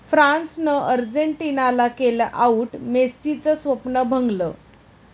फ्रान्सनं अर्जेंटिनाला केलं 'आऊट', मेस्सीचं स्वप्न भंगलं